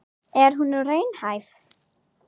Er hún raunhæf?